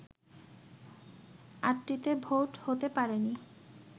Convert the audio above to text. আটটিতে vote হতে পারেনি